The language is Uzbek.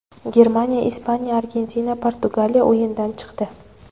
Germaniya, Ispaniya, Argentina, Portugaliya o‘yindan chiqdi.